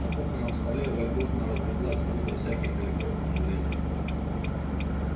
на кухонном столе вольготно разлеглась груда всяких электронных железок